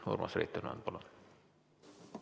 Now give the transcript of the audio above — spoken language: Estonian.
Urmas Reitelmann, palun!